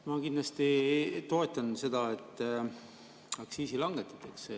Ma kindlasti toetan seda, et aktsiisi langetatakse.